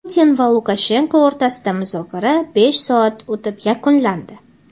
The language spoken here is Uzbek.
Putin va Lukashenko o‘rtasidagi muzokara besh soat o‘tib yakunlandi.